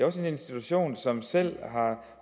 også en institution som selv har